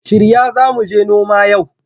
Shirya za mu je noma yau!